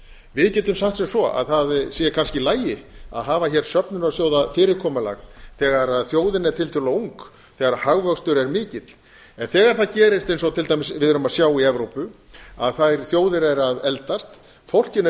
við getum sagt sem svo að það sé kannski í lagi að hafa hér söfnunarsjóðafyrirkomulag þegar þjóðin er tiltölulega ung þegar hagvöxtur er mikill en þegar það gerist eins og til dæmis við erum að sjá í evrópu að þær þjóðir eru að eldast fólkinu er